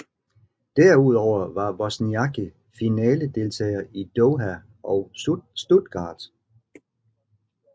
Derudover var Wozniacki finaledeltager i Doha og Stuttgart